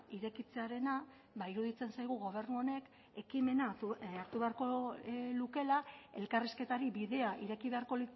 irekitzearena iruditzen zaigu gobernu honek ekimena hartu beharko lukeela elkarrizketari bidea ireki beharko